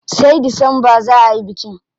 Sai Disamba za ayi bikin.